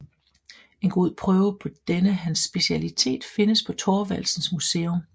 En god prøve på denne hans specialitet findes på Thorvaldsens Museum